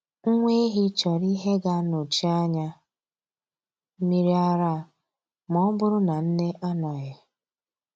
Nwa ehi chọrọ ihe ga-anọchi anya mmiri ara ma ọ bụrụ na nne anọghị.